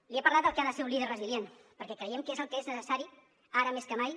li he parlat del que ha de ser un líder resilient perquè creiem que és el que és necessari ara més que mai